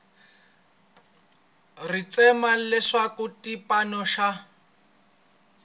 ri tshemba leswaku xipano xa